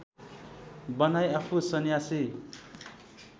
बनाई आफू सन्यासी